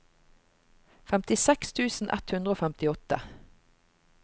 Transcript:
femtiseks tusen ett hundre og femtiåtte